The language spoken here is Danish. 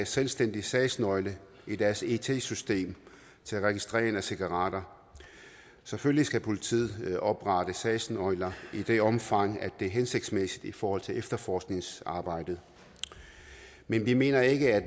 selvstændig sagsnøgle i deres it system til registrering af cigaretter selvfølgelig skal politiet oprette sagsnøgler i det omfang det er hensigtsmæssigt i forhold til efterforskningsarbejdet men vi mener ikke at